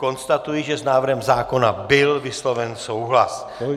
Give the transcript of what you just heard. Konstatuji, že s návrhem zákona byl vysloven souhlas.